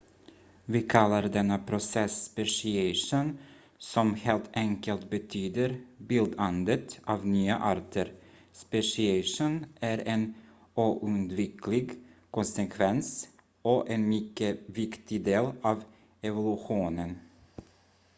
vi kallar denna process speciation som helt enkelt betyder bildandet av nya arter speciation är en oundviklig konsekvens och en mycket viktig del av evolutionen